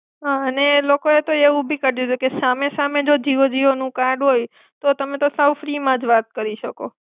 હા ને લોકોએ તો એવું બી કાડ્યુંતું કે સામે સામે જો જીઓ જીઓનું કાર્ડ હોય તો તમે તો સાવ ફ્રીમાં જ વાત કરી શકો.